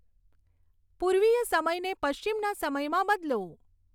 પૂર્વીય સમયને પશ્ચિમના સમયમાં બદલો